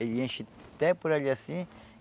Ele enche até por ali assim.